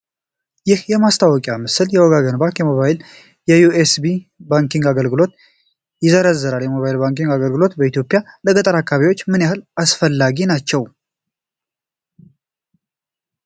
ይህ የማስታወቂያ ምስል የ "ወጋገን ባንክ" የሞባይልና የዩኤስኤስዲ ባንኪንግ አገልግሎቶችን ይዘረዝራል። የሞባይል ባንኪንግ አገልግሎቶች በኢትዮጵያ ለገጠር አካባቢዎች ምን ያህል አስፈላጊ ናቸው?